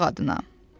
Qonaq adına.